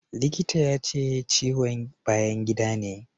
Likitan ya ce ciwon bayan gida ne.